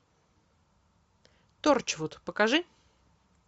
торчвуд покажи